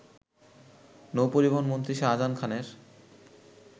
নৌপরিবহনমন্ত্রী শাহজাহান খানের